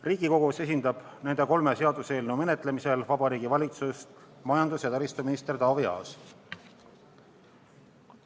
Riigikogus esindab nende kolme seaduseelnõu menetlemisel Vabariigi Valitsust majandus- ja taristuminister Taavi Aas.